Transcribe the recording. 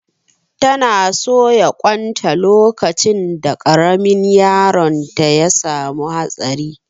Ta na soya ƙwan ta lokacin da ƙaramin yaron ya samu hatsari